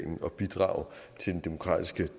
det